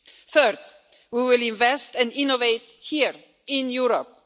Third, we will invest and innovate here in Europe.